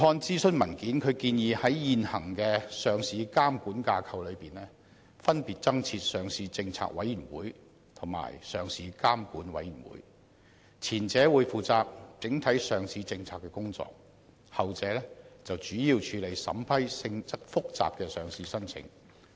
諮詢文件建議在現行的上市監管架構下，分別增設上市政策委員會及上市監管委員會，前者將負責整體上市政策的工作，後者則主要處理審批性質複雜的上市申請。